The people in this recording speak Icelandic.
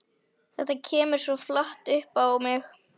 Þetta kemur svo flatt upp á mig.